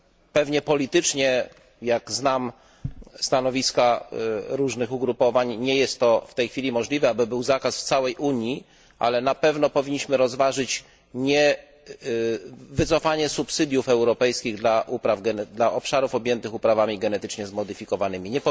Pewnie politycznie jak znam stanowiska różnych ugrupowań nie jest w tej chwili możliwe, aby był zakaz w całej Unii, ale na pewno powinniśmy rozważyć wycofanie subsydiów europejskich dla obszarów objętych uprawami genetycznie zmodyfikowanymi.